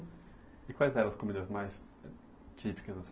E quais eram as comidas mais típicas